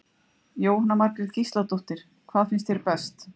Jóhanna Margrét Gísladóttir: Hvað finnst þér best?